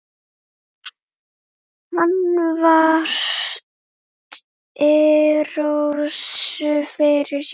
Hann virti Rósu fyrir sér.